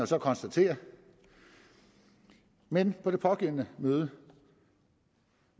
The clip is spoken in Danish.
så konstatere men på det pågældende møde